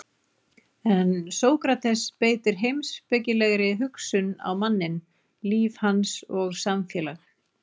En Sókrates beitir heimspekilegri hugsun á manninn, líf hans og samfélag.